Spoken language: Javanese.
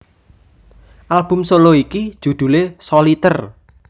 Album solo iki judhule Soliter